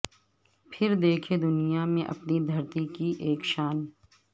پھر دیکھیں دنیا میں اپنی دھرتی کی اک شان